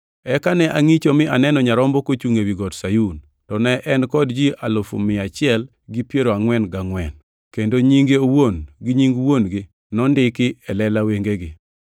Eka ne angʼicho mi aneno Nyarombo kochungʼ ewi Got Sayun. To ne en kod ji alufu mia achiel gi piero angʼwen gangʼwen (144,000) kendo nyinge owuon gi nying Wuon-gi nondiki e lela wengegi.